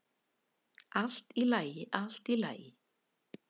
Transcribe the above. """Allt í lagi, allt í lagi."""